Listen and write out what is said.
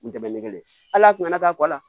U dɛmɛ ni kelen ye ala kun na k'a kɔ la